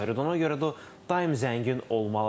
Ona görə də o daim zəngin olmalıdır.